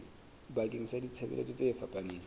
bakeng sa ditshebeletso tse fapaneng